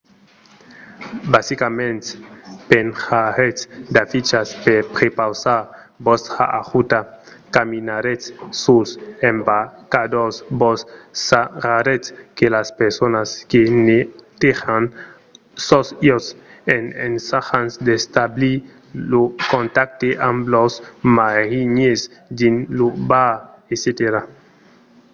basicament penjaretz d'afichas per prepausar vòstra ajuda caminaretz suls embarcadors vos sarraretz de las personas que netejan sos iòts en ensajant d’establir lo contacte amb los marinièrs dins lo bar etc